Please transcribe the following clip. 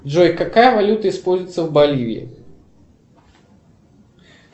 джой какая валюта используется в боливии